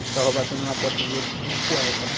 E ficava batendo na porta dos outros pedindo cueca, né?